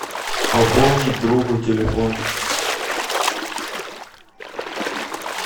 пополнить другу телефон